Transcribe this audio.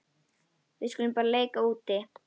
Við skulum bara leika úti.